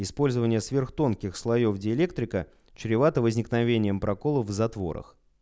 использование сверхтонких слоёв диэлектрика чревато возникновением проколов в затворах